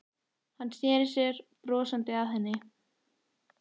Hann sneri sér brosandi að henni.